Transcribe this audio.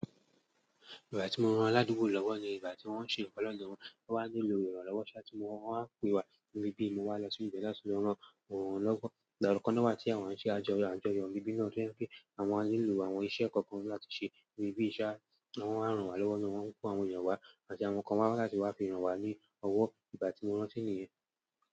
Ìgbà tí mo rán aládùúgbò lọ́wọ́ ni ìgbà tí wọ́n ń ṣe nǹkan lọdọ wọn. Wọ́n wá nílò ìrànlọ́wọ́ ṣá tí mo wọ́n á pe wa níbí. Mo wá lọ sí ibẹ̀ láti lọ ráwọn lọ́wọ́. Ìgbà kan náà wá tí àwọn ń ṣe àjọyọ̀ níbí náà tí ó jẹ́ pé àwọn á nílò àwọn iṣẹ́ kọ̀ọ̀kan láti ṣe níbí. Won wa ranwa lọwọ náà wọn ko àwọn èèyàn wa láti wa fi ranwa lọwọ, igbati mo rántí niyẹn.